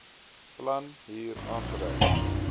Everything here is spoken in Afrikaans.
plan hier aangedui